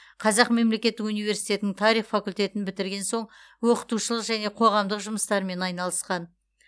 қазақ мемлекеттік университетінің тарих факультетін бітірген соң оқытушылық және қоғамдық жұмыстармен айналысқан